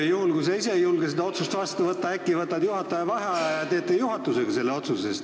Juhul, kui sa ise ei julge seda otsust vastu võtta, äkki võtad juhataja vaheaja ja teete juhatusega selle otsuse?